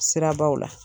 Sirabaw la